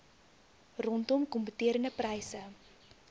rondom kompeterende pryse